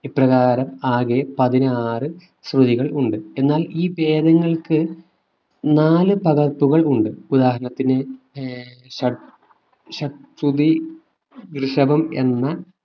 ഇപ്രകാരം ആകെ പതിനാറ് ശ്രുതികൾ ഉണ്ട് എന്നാൽ ഈ ഭേദങ്ങൾക്ക് നാല് പകർപ്പുകൾ ഉണ്ട് ഉദാഹരണത്തിന് ഏർ ഷാദ് ഋഷഭം എന്ന